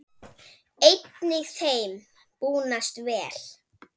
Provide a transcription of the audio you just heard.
Einnig þeim búnast vel.